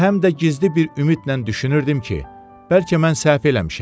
Və həm də gizli bir ümidlə düşünürdüm ki, bəlkə mən səhv eləmişəm.